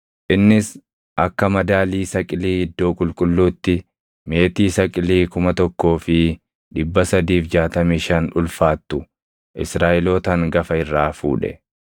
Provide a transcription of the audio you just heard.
Innis akka madaalii saqilii iddoo qulqulluutti meetii saqilii 1,365 ulfaattu Israaʼeloota hangafa irraa fuudhe.